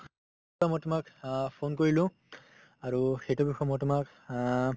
মই তোমাক অ phone কৰিলো আৰু সেইটো বিষয়ে মই তোমাক অ